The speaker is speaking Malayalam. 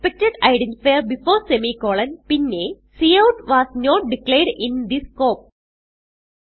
എക്സ്പെക്ടഡ് ഐഡന്റിഫയർ ബിഫോർ സെമിക്കോളൻ പിന്നെ cout was not declared in this scope